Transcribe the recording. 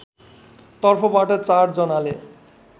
तर्फबाट ४ जनाले